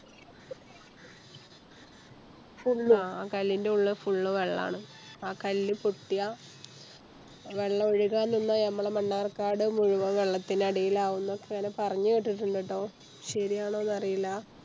Full ആ കല്ലിന്റുള്ളിൽ Full വെള്ളാണ് ആ കല്ല് പൊട്ടിയ വെള്ളൊഴുകാനുള്ള ഞമ്മളെ മണ്ണാർക്കാട് മുഴുവൻ വെള്ളത്തിനടിയിലാവും ന്നൊക്കെയാണ് പറഞ്ഞ് കേട്ടിട്ടോള്ളേ ട്ടോ ശെരിയാണോന്ന് അറീല്ല